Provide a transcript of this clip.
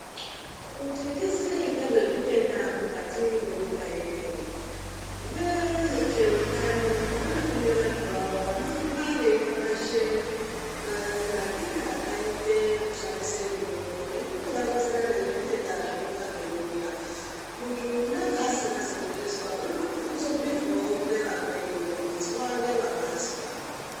Kuti tiziye ngezvezvitenda mukati mwenyika ineyii, vezveutano vanotume vantu vavo vanohamba veipapazhe manakire akaite kushandise mitombo nekutovaronzera nezvitenda zvinonga zveiuya. Kuti unenge asingazi kuzvizwa unotokone kuzobhuirwawo ngevamweni kuite zwa ngewakazwa.